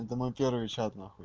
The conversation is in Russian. это мой первый чат нахуй